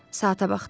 Saata baxdı.